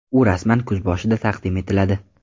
U rasman kuz boshida taqdim etiladi.